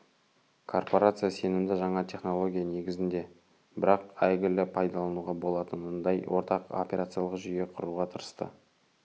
корпорация сенімді жаңа технология негізінде бірақ әйгілі пайдалануға болатынындай ортақ операциялық жүйе құруға тырысты